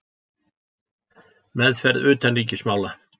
Meðferð utanríkismála.